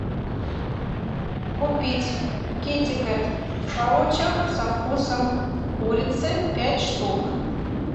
купить китекет в паучах со вкусом курицы пять штук